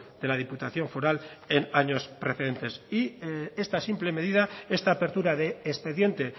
de la diputación foral en años precedentes y esta simple medida esta apertura de expediente